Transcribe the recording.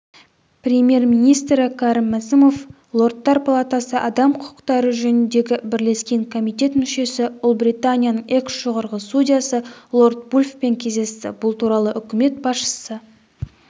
премьер-министрі кәрім мәсімов лордтар палатасы адам құқықтары жөніндегі бірлескен комитет мүшесі ұлыбританияның экс-жоғарғы судьясы лорд вульфпен кездесті бұл туралы үкімет басшысы